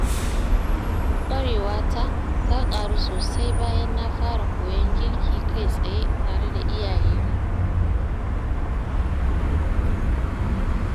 Ƙwarewa ta, ta ƙaru sosai bayan na fara koyon girki kai tsaye tare da iyayena.